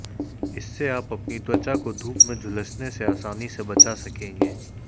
इससे आप अपनी त्वचा को धूप में झुलसने से आसानी से बचा सकेगें